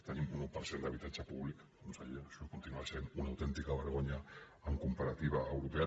tenim un un per cent d’habitatge públic conseller això continua sent una autèntica vergonya en comparativa europea